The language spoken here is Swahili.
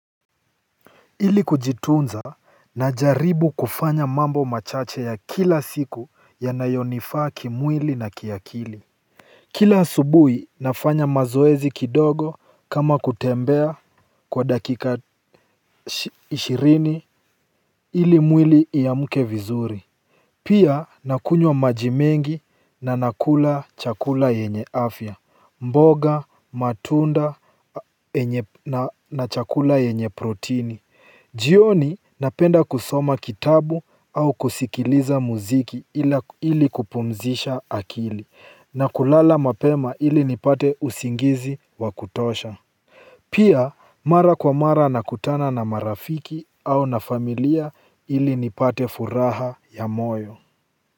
Ili kujitunza, najaribu kufanya mambo machache ya kila siku yanayonifaa kimwili na kiakili. Kila asubuhi nafanya mazoezi kidogo kama kutembea kwa dakika ishirini ili mwili uamke vizuri. Pia nakunywa maji mengi na ninakula chakula yenye afya, mboga, matunda na chakula yenye protini. Jioni napenda kusoma kitabu au kusikiliza muziki ili kupumzisha akili na kulala mapema ili nipate usingizi wa kutosha. Pia mara kwa mara nakutana na marafiki au na familia ili nipate furaha ya moyo.